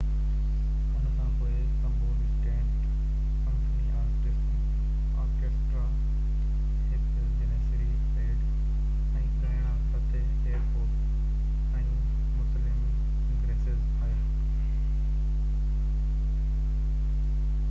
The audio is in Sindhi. ان کانپوءِ استنبول اسٽيٽ سمفني آرڪيسٽرا هڪ جنيسري بينڊ ۽ ڳائڻا فتح ايرڪوڪ ۽ مسلم گُرسيس آيا